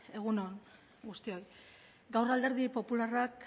egun on guztioi gaur alderdi popularrak